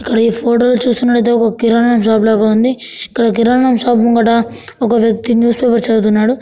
ఇక్కడ ఈ ఫోటో చూస్తున్నట్టయితే ఒక కిరానా షాప్ లాగా ఉంది. ఇక్కడ కిరానా షాప్ ముంగట ఒక వ్యక్తి న్యూస్ పేపర్ చదువుతున్నాడు.